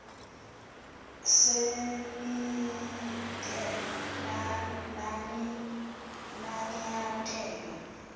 senide nani nanyathela